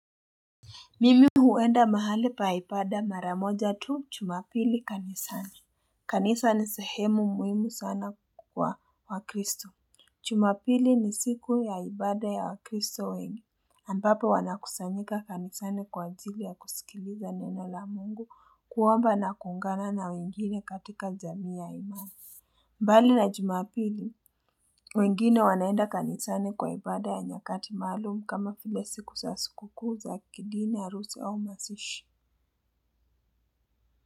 Mimi huenda mahali pa ipada mara moja tu chumapili kanisani. Kanisa ni sehemu muhimu sana kwa wakristo. Chumapili ni siku ya ibada ya wakristo wengi. Ambapo wanakusanyika kanisani kwa ajili ya kusikiliza neno la mungu kuomba na kuungana na wengine katika jamii ya imani. Mbali na jumapili, wengine wanaenda kanisani kwa ibada ya nyakati maalumu kama file siku sa sikukuu za kidini arusi au masishi.